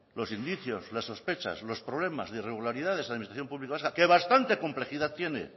los indicios las sospechas los problemas de irregularidad de la administración pública vasca que bastante complejidad tiene